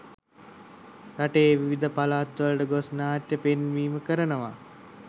රටේ විවිධ පළාත්වලට ගොස් නාට්‍ය පෙන්වීම කරනවා.